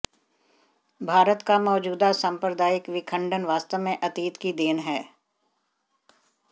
भारत का मौजूदा साम्प्रदायिक विखंडन वास्तव में अतीत की देन है